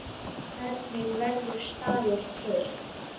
Hvernig verður staður til?